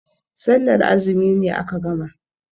Sallar azumi ne aka gama.